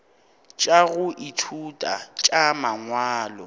tša go ithuta tša mangwalo